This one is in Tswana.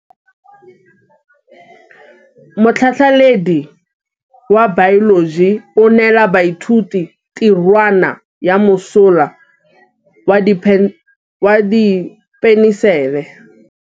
Motlhatlhaledi wa baeloji o neela baithuti tirwana ya mosola wa peniselene.